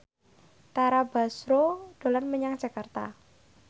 Tara Basro dolan menyang Jakarta